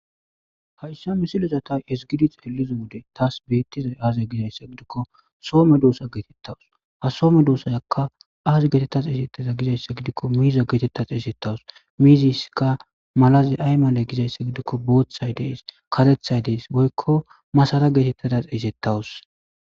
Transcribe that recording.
Hayssa misilozata es gidi xeeliza wode taas beettizay aaza gizayssa gidikko soome doosa geetettawus ha soome doosayakka aazi geetettas eesettaza gizayssa gidikko miiza geetettas eesettawus miiziskka malazi ay maale gizayssa gidikko booththay dees katethay dees boykko masara geetettadas eesettawus.